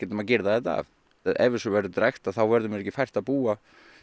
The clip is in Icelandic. maður girðir þetta af ef þessu verður drekkt þá verður mér ekki fært að búa